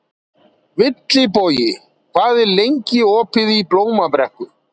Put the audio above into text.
Vilbogi, hvað er lengi opið í Blómabrekku?